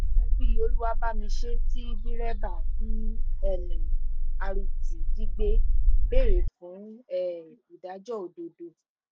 ẹ́bí olúwàbàmiṣẹ́ tí dẹ́rẹ́bà b um rt jí gbé béèrè fún um ìdájọ́ òdodo